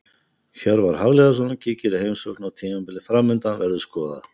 Hjörvar Hafliðason kíkir í heimsókn og tímabilið framundan verður skoðað.